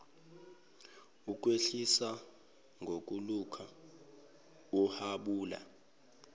ukwehlise ngokulokhu uhabula